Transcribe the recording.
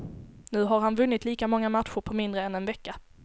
Nu har han vunnit lika många matcher på mindre än en vecka.